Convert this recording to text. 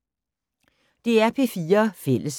DR P4 Fælles